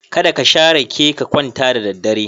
Kada ka sha rake ka kwanta da daddare.